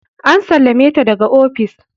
An sallame ta daga ofis.